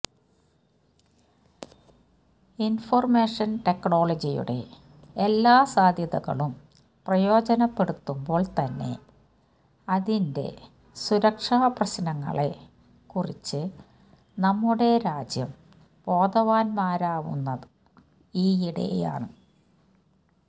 information ടെക്ക്നോളജിയുടെ എല്ലാ സാധ്യതകളും പ്രയോജനപ്പെടുത്തുമ്പോൾ തന്നെ അതിന്റെ സുരക്ഷാ പ്രശ്നങ്ങളെ കൂറിച്ച് നമ്മുടെ രാജ്യം ബോധവാന്മാരുവുന്നത് ഈയിടെയാണ്